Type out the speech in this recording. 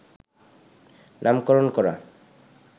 নামকরণ করা